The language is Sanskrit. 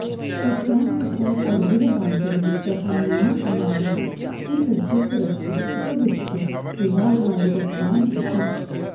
तस्यां तिथौ सर्वैः बान्धवैः सह नेमिकुमारः सुसज्जितरथे उपविश्य विवाहाय गतवान् आसीत्